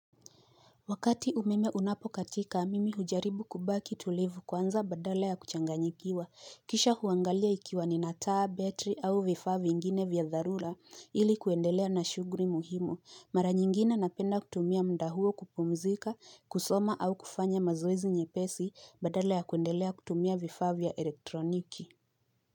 Wakati umeme unapo katika, mimi hujaribu kubaki tulivu kwanza badala ya kuchanganyikiwa. Kisha huangalia ikiwa ninataa, battery au vifaavingine vya dharura ili kuendelea na shuguri muhimu. Mara nyingine napenda kutumia mda huo kupumzika, kusoma au kufanya mazoezi nye pesi Badala ya kuendelea kutumia vifaa vya elektroniki.